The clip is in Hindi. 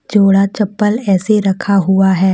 जोड़ा चप्पल ऐसे रखा हुआ है।